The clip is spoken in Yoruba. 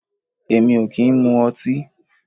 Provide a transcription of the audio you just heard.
Èmi o ki n mu ọti